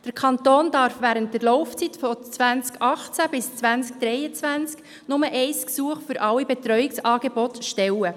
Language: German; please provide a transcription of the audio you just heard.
Der Kanton darf während der Laufzeit von 2018 bis 2023 nur ein Gesuch für alle Betreuungsangebote stellen.